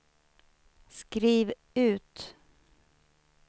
skriv ut